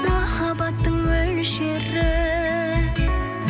махаббаттың мөлшері